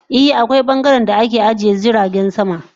I, akwai bangaren da ake ajiye jiragen sama.